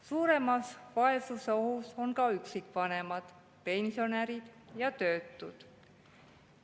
Suuremas vaesusohus on ka üksikvanemad, pensionärid ja töötud.